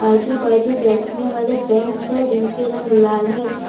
आजु बाजु बैठने वाले बेंच हैं जिनके रंग लाल है।